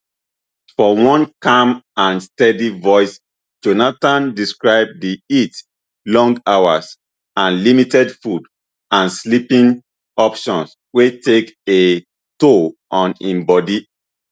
for one calm and steady voice jonathan describe di heat long hours and limited food and sleeping options wey take a toll on im bodi